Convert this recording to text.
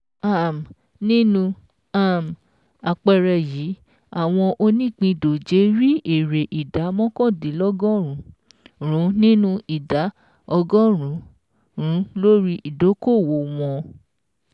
um Nínú um àpẹẹrẹ yìí, àwọn onípindòjé rí èrè ìdá mọ́kàndínlọ́gọ́rùn-ún nínú ìdá ọgọ́rùn-ún lórí ìdókòwò wọn